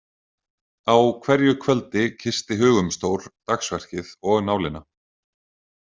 Á hverju kvöldi kyssti Hugumstór dagsverkið og nálina.